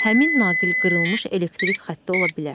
Həmin naqil qırılmış elektrik xətti ola bilər.